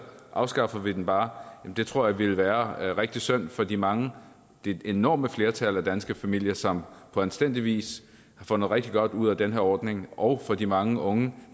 afskaffer vi den bare tror jeg ville være rigtig synd for de mange det enorme flertal af danske familier som på anstændig vis får noget rigtig godt ud af den her ordning og for de mange unge